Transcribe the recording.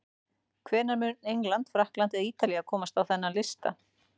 Hvenær mun England, Frakkland eða Ítalía komast á þennan lista?